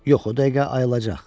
Yox, o dəqiqə ayılacaq.